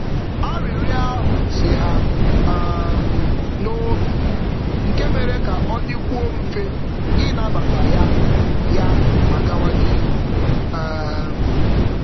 Arịrịọ ahụ si ha um n'obi, nke mere ka ọ dịkwuo mfe ịnabata ya ya ma gawa n'ihu. um